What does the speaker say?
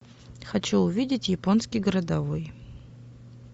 хочу увидеть японский городовой